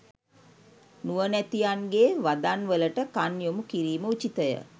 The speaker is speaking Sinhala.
නුවණැතියන්ගේ වදන්වලට කන් යොමු කිරීම උචිතය.